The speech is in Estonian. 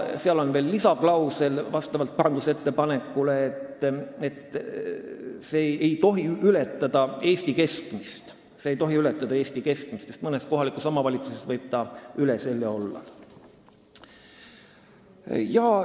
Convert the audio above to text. Sinna on parandusettepaneku kohaselt pandud veel lisaklausel, et see toetus ei tohi ületada Eesti keskmist, sest mõnes kohalikus omavalitsuses võis ta üle selle olla.